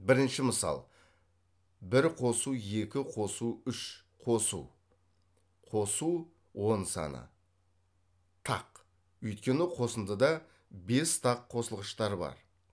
бірінші мысал бір қосу екі қосу үш қосу қосу он саны тақ өйткені қосындыда бес тақ қосылғыштар бар